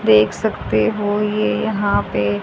देख सकते हो ये यहां पे--